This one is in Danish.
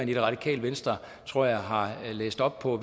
det radikale venstre tror jeg har læst op på